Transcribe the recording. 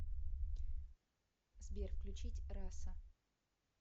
сбер включить раса